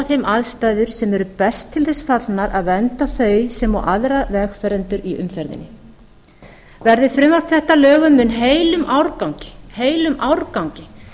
þeim aðstæður sem er best til þess fallnar að vernda þau sem og aðra vegfarendur í umferðinni verði frumvarp þetta að lögum mun heilum árgangi